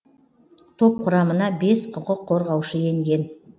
топ құрамына бес құқық қорғаушы енген